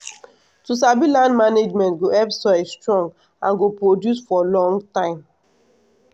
to sabi land management go help soil strong and go produce for long time